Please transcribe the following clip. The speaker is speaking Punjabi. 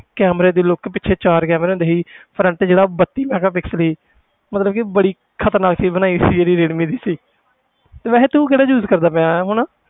Camera ਦੀ look ਪਿੱਛੇ ਚਾਰ camera ਹੁੰਦੇ ਸੀ front ਜਿਹੜਾ ਉਹ ਬੱਤੀ megapixel ਸੀ ਮਤਲਬ ਕਿ ਬੜੀ ਖ਼ਤਰਨਾਕ ਚੀਜ਼ ਬਣਾਈ ਸੀ ਜਿਹੜੀ ਰੀਅਲਮੀ ਦੀ ਸੀ ਤੇ ਵੈਸੇ ਤੂੰ ਕਿਹੜਾ use ਕਰਦਾ ਪਿਆ ਹੈ ਹੁਣ?